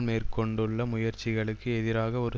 மேற்கொண்டுள்ள முயற்சிகளுக்கு எதிராக ஒரு